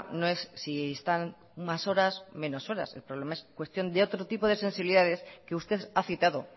no es si están más horas o menos horas el problema es cuestión de otro tipo de sensibilidades que usted ha citado